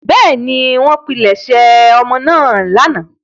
Bẹ́ẹ̀ni, wọ́n pilẹ̀sẹ̀ ọmọ náà lánàá.